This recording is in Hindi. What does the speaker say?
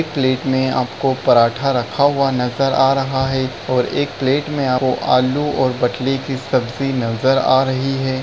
एक प्लेट में आपको पराठा रखा हुआ नजर आ रहा है और एक प्लेट में आपको आलू और बटली की सब्जी नजर आ रही है।